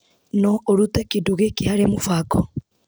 No ũrute kĩndũ gĩkĩ harĩ mũbango